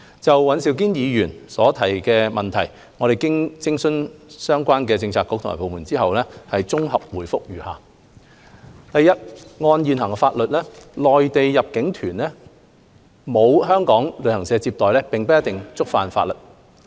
就尹兆堅議員的質詢，經諮詢相關政策局及部門後，我現綜合答覆如下：一按現行法例，內地入境旅行團沒有香港旅行社接待，並不一定觸犯法例。